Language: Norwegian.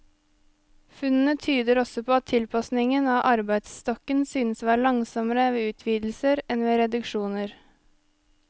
Funnene tyder også på at tilpasningen av arbeidsstokken synes å være langsommere ved utvidelser enn ved reduksjoner.